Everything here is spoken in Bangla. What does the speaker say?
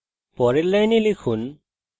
সুতরাং পরের line লিখুন